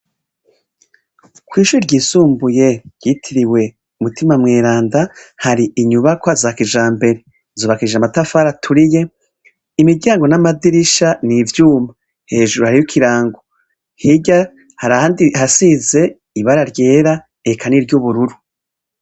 Kw'ishure ryisumbuye ryitiriwe Mutima Mweranda hari inyubakwa za kijambere, zubakishije amatafari aturiye ,imiryango n'amadirisha n'ivyuma hejuru hariho ikirango hirya hari ahandi hasize ibara ryera eka n'iryubururu.